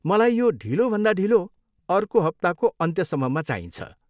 मलाई यो ढिलोभन्दा ढिलो अर्को हप्ताको अन्त्यसम्ममा चाहिन्छ।